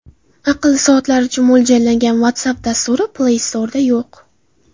Aqlli soatlar uchun mo‘ljallangan WhatsApp dasturi Play Store’da yo‘q.